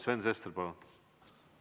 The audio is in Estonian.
Sven Sester, palun!